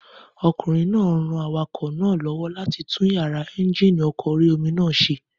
Ọmọkùnrin náà ran awakọ̀ náà lọ́wọ́ láti tún yàrá éúnjínì ọkọ̀ orí-omi náà ṣe